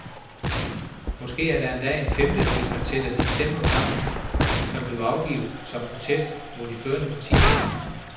Måske er der endda en femte, hvis man tæller de stemmer sammen, der er blevet afgivet som protest mod de førende partier.